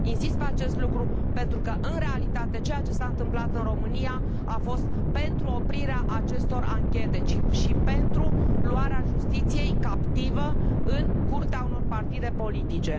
Insist asupra acestui lucru pentru că, în realitate, ceea ce s a întâmplat în România a fost pentru oprirea acestor anchete și pentru luarea justiției captivă în curtea unor partide politice.